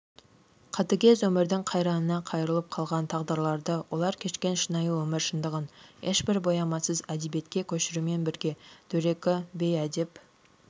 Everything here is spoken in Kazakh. қатігез өмірдің қайраңына қайырлап қалған тағдырларды олар кешкен шынайы өмір шындығын ешбір боямасыз әдебиетке көшірумен бірге дөрекі бейәдеп